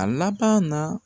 A laban na